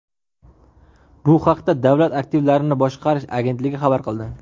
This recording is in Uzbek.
Bu haqda Davlat aktivlarini boshqarish agentligi xabar qildi .